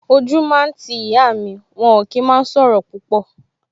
O jú máa ń ti ìyá mi, wọn ò kí máa ń sọ̀rọ̀ púpọ̀